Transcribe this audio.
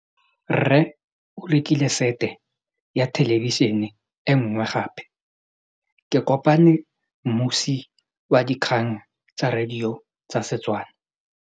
Rre o rekile sete ya thêlêbišênê e nngwe gape. Ke kopane mmuisi w dikgang tsa radio tsa Setswana.